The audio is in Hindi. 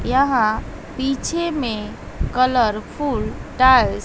यहां पीछे में कलरफुल टाइल्स --